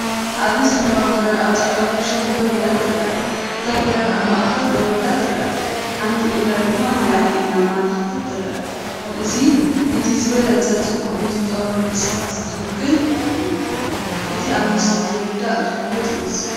ኣብዚ ሰማያዊ ክራር ኣብ ጻዕዳ ኩሽን ደው ኢላ ትርአ። እታ ክራር ኣብ ማእከል ደው ኢላ ትረአ፡ ሓንቲ እግራ ድማ ንላዕሊ እናኣመልከተት ትርአ። እዚ ነቲ ዝበለጸ ጽባቐን ሙዚቃዊ ምንቅስቓስን ዝውክል እዩ። እቲ ኣብ ምስሊ ዝርዳእ ዝፍለጥ ይመስል።